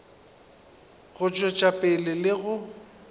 go tšwetša pele le go